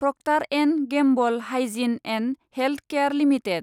Procter & Gamble hygiene and health care limited